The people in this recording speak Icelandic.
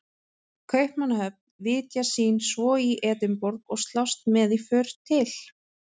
Kaupmannahöfn, vitja sín svo í Edinborg og slást með í för til